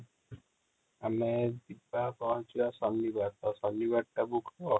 ଆମେ ପହଞ୍ଚି ବ ଶନିବାର ତ ଶନିବାର ଟା book କର